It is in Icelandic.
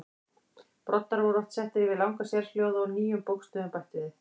Broddar voru oft settir yfir langa sérhljóða og nýjum bókstöfum bætt við.